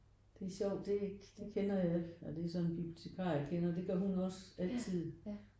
Det er sjovt det det kender jeg og det er så en bibliotekar jeg kender. Det gør hun også altid